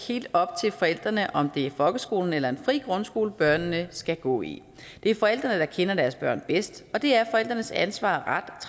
helt op til forældrene om det er en folkeskole eller en fri grundskole børnene skal gå i det er forældrene der kender deres børn bedst og det er forældrenes ansvar